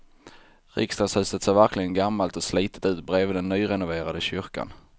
Riksdagshuset ser verkligen gammalt och slitet ut bredvid den nyrenoverade kyrkan.